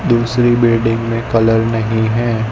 दूसरी बिल्डिंग मे कलर नही है।